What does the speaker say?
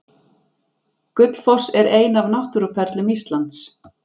Gullfoss er ein af náttúruperlum Íslands.